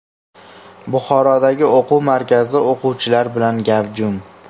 Buxorodagi o‘quv markazi o‘quvchilar bilan gavjum .